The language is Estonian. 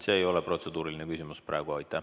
See ei ole protseduuriline küsimus.